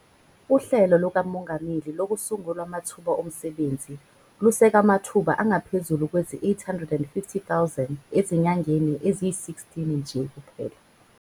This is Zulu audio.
UHlelo lukaMongameli Lokusungulwa Kwamathuba Omsebenzi luseke amathuba angaphezulu kwezi-850 000 ezinyangeni eziyi-16 nje kuphela.